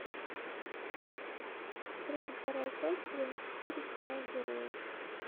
тридцать вторая часть сезон четыре сериал герои